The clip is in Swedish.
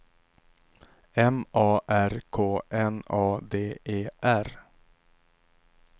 M A R K N A D E R